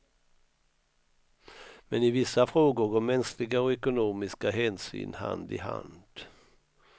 Men i vissa frågor går mänskliga och ekonomiska hänsyn hand i hand.